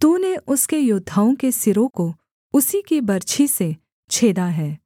तूने उसके योद्धाओं के सिरों को उसी की बर्छी से छेदा है